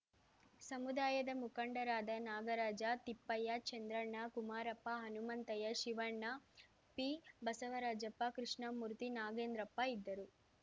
ಸಮುದಾಯದ ಮುಖಂಡರಾದ ನಾಗರಾಜ ತಿಪ್ಪಯ್ಯ ಚಂದ್ರಣ್ಣ ಕುಮಾರಪ್ಪ ಹನುಮಂತಯ್ಯ ಶಿವಣ್ಣ ಪಿಬಸವರಾಜಪ್ಪ ಕೃಷ್ಣಮೂರ್ತಿ ನಾಗೇಂದ್ರಪ್ಪ ಇದ್ದರು